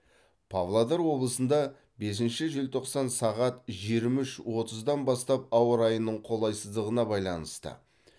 павлодар облысында бесінші желтоқсан сағат жиырма үш отыздан бастап ауа райының қолайсыздығына байланысты